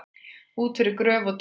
Út yfir gröf og dauða